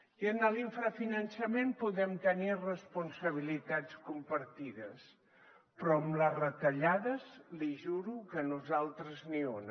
i en l’infrafinançament podem tenir responsabilitats compartides però en les retallades li juro que nosaltres ni una